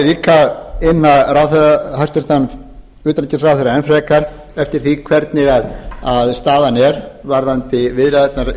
vil ég líka inna hæstvirtan utanríkisráðherra enn frekar eftir því hvernig staðan er varðandi viðræðurnar